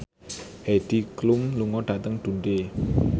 Heidi Klum lunga dhateng Dundee